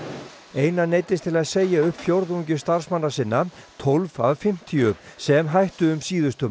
einar neyddist til að segja upp fjórðungi starfsmanna sinna tólf af fimmtíu sem hættu um síðustu